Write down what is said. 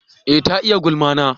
eh ta yi gulma na